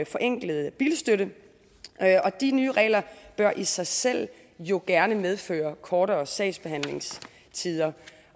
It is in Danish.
forenklet bilstøtte og de nye regler bør i sig selv jo gerne medføre kortere sagsbehandlingstider